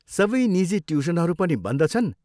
सबै निजी ट्युसनहरू पनि बन्द छन्।